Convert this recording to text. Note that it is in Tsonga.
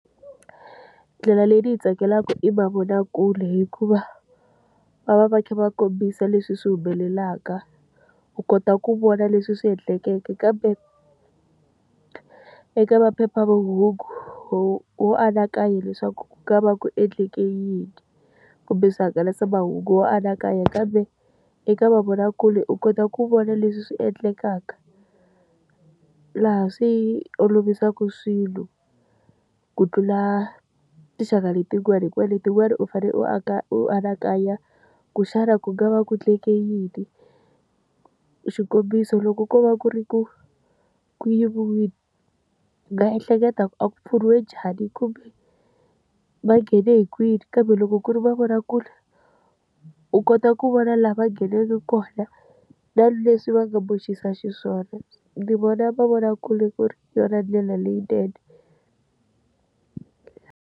Ndlela leyi ndzi yi tsakelaka i mavonakule hikuva, va va va kha va kombisa leswi swi humelelaka. U kota ku vona leswi swi endlekeke kambe, eka maphephahungu wo wo anakanya leswaku ka nga va ku endleke yini. Kumbe swihangalasamahungu wo anakanya kambe, eka mavonakule u kota ku vona leswi swi endlekaka. Laha swi olovisaka swilo ku tlula tinxaka letin'wani hikuva letin'wani u fanele u u anakanya ku xana ku nga va ku endleke yini. Xikombiso loko ko va ku ri ku ku yiviwile, u nga ehleketa ku a kupfuriwe njhani kumbe, va nghene hi kwini. Kambe loko ku ri mavonakule, u kota ku vona laha va ngheneke kona, na leswi va nga boxisa xiswona. Ndzi vona mavonakule ku ri yona ndlela leyinene.